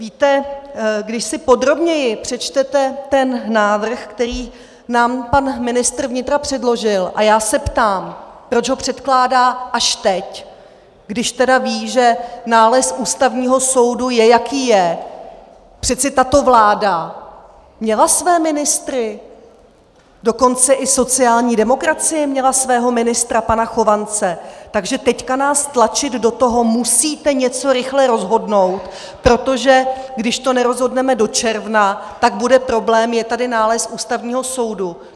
Víte, když si podrobněji přečtete ten návrh, který nám pan ministr vnitra předložil - a já se ptám, proč ho předkládá až teď, když tedy ví, že nález Ústavního soudu je, jaký je, přece tato vláda měla své ministry, dokonce i sociální demokracie měla svého ministra pana Chovance, takže teď nás tlačit do toho, musíte něco rychle rozhodnout, protože když to nerozhodneme do června, tak bude problém, je tady nález Ústavního soudu.